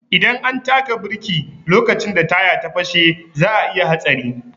Idan an taka biriki lokacin da taya ya fashe za'a iya hatsari.